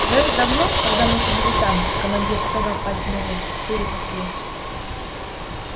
когда-то давно когда мы ещё жили там командир показал пальцем вверх были такие